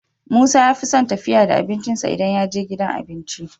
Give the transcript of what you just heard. Musa yafison tafiya da abincin sa idan yaje gidan abinci